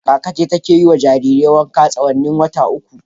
Kaka ce ke ta yi wa jaririn wanka tsawon watanni uku.